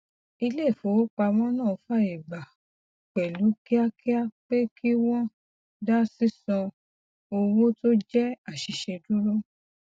ilé ifowopamọ náà fàyè gba pẹlú kíákíá pé kí wọn dá sísan owó tó jẹ aṣìṣe dúró